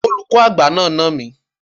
Olùkọ́ àgbà náà nà mí.